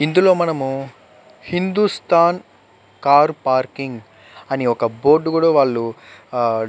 ఇందులో మనము Hindustan car parking అని ఒక బోర్డు కూడా వాళ్ళు --